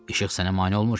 İşıq sənə mane olmur ki?